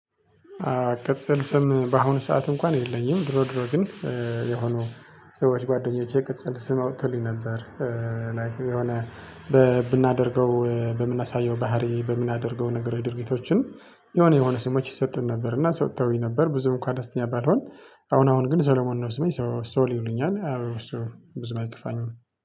ቅጽል ስም በአሁኑ ሰዓት እንኳን የለኝም ድሮ ድሮ ግን የሆኑ ሰዎች ጓደኞቼ ቅጽል ስም አውጥተውልኝ ነበር። ላይክ የሆነ በ ብናደርገው በምናሳየው ባህሪ በምናደርገው ነገር ድርጊቶችን የሆነ የሆነ ስሞች ይሰጡን ነበር እና ሰጥተውኝ ነበር ብዙ እንኳ ደስተኛ ባልሆን። አሁን አሁን ግን ሰለሞን ነው ስሜ ሶ ሶል ይሉኛል ያው እሱ ብዙም አይከፋኝም